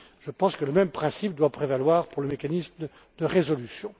Je pense que le même principe doit prévaloir pour le mécanisme de résolution.